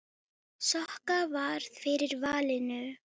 Hvernig gekk?